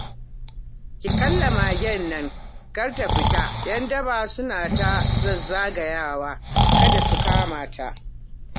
Ki kulle magen nan kar ta fita 'yan daba suna ta zazzagawa kada su kama ta